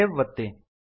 save ಒತ್ತಿ